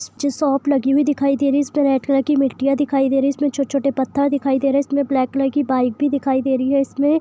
Shop लगी हुई दिखाई दे रही है जिसमें रेड कलर की मिट्टी मिट्टियां दिखाई दे रही है इसमें छोटे छोटे पत्थर भी है उसमे ब्लैक कलर की बाइक भी दिख रही है।